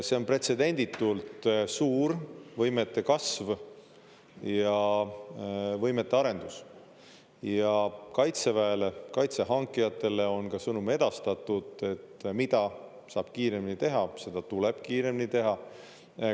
See on pretsedenditult suur võimete kasv ja võimete arendus ja Kaitseväele, kaitse hankijatele on ka sõnum edastatud, et mida saab kiiremini teha, seda tuleb kiiremini teha.